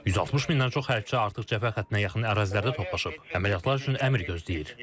160 mindən çox hərbçi artıq cəbhə xəttinə yaxın ərazilərdə toplaşıb, əməliyyatlar üçün əmr gözləyir.